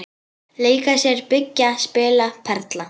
Leika sér- byggja- spila- perla